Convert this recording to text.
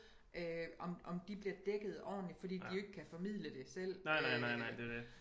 Om om de bliver dækket ordentligt fordi de jo ikke kan formidle det selv øh